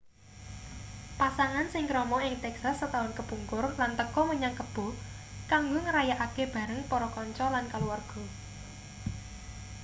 pasangan sing krama ing texas setaun kepungkur lan teka menyang kebo kanggo ngrayakake bareng para kanca lan kaluwarga